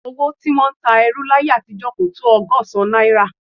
Owó tí wọ́n ń ta ẹrú láyé àtijọ́ kò tó ọgọ́sán náírà